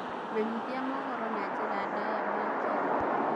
menyithia mohoro na njĩra ndaya ma kenya